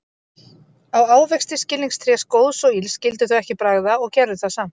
Á ávexti skilningstrés góðs og ills skyldu þau ekki bragða, og gerðu það samt.